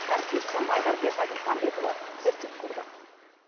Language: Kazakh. әріптесім айдарбек айтмұханбетұлы зерттеп көрді